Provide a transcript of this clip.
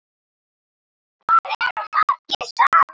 Hvað eru þeir margir saman?